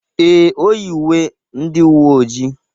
Ee, o yi uwe ndị uwe ojii.